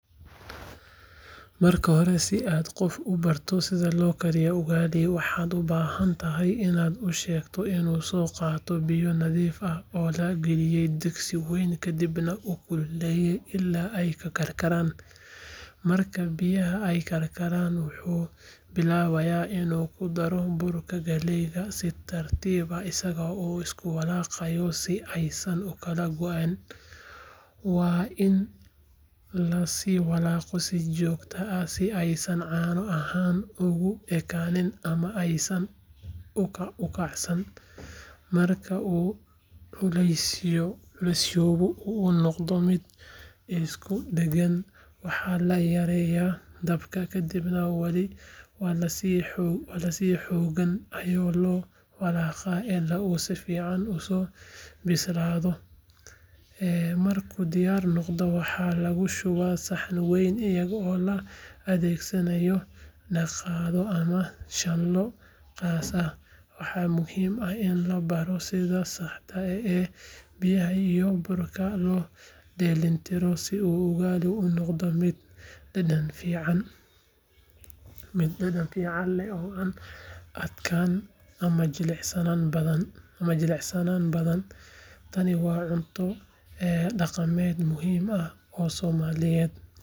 Marka hore, si aad qof ugu barato sida loo kariyo ugali, waxaad u baahan tahay inaad u sheegto inuu soo qaato biyo nadiif ah oo la geliyo digsi wayn kadibna uu kululeeyo ilaa ay karkaraan. Marka biyaha ay karkaan, wuxuu bilaabayaa inuu ku daro burka galeyda si tartiib ah isaga oo isku walaaqaya si aysan ukala go’in. Waa in la sii walaaqaa si joogto ah si aysan caano ahaan ugu ekaan ama aysan ukacsan. Marka uu culusyoobo oo uu noqdo mid isku dhagan, waxaa la yareeyaa dabka kadibna wali si xooggan ayaa loo walaaqaa ilaa uu si fiican usoo bislaado. Markuu diyaar noqdo, waxaa lagu shubaa saxan weyn iyadoo la adeegsanayo qaaddo ama shanlo qaas ah. Waxaa muhiim ah in la baro sida saxda ah ee biyaha iyo burka loo dheellitiro si uu ugali u noqdo mid dhadhan fiican leh oo aan adkaan ama jilicsanaan badan. Tani waa cunto dhaqameed muhiim ah oo Soomaaliyeed,.